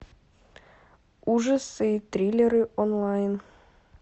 ужасы и триллеры онлайн